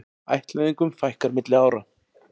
Ættleiðingum fækkar milli ára